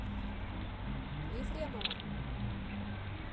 ефремова